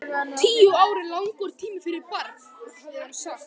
Tíu ár eru langur tími fyrir barn, hafði hann sagt.